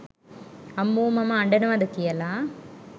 අම්මෝ මම අඩනවද කියල